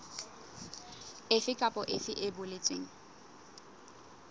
efe kapa efe e boletsweng